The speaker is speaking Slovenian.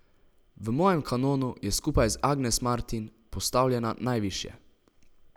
V mojem kanonu je skupaj z Agnes Martin postavljena najvišje.